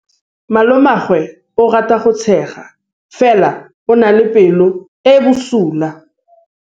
Malomagwe o rata go tshega fela o na le pelo e e bosula.